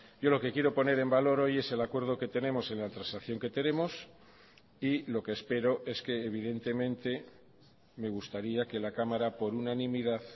yo lo que quiero poner en valor hoy es el acuerdo que tenemos en la transacción que tenemos y lo que espero es que evidentemente me gustaría que la cámara por unanimidad